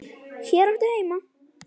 Hér áttu heima.